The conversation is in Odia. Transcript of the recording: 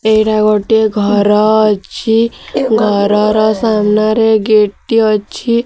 ଏଇଟା ଗୋଟିଏ ଘର ଅଛି ଘରର ସାମ୍ନାରେ ଗେଟ ଟି ଅଛି।